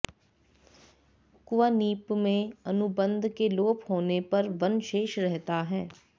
क्वनिप् में अनुबन्ध के लोप होने पर वन् शेष रहता है